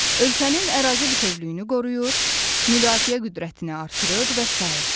Ölkənin ərazi bütövlüyünü qoruyur, müdafiə qüdrətini artırır və sair.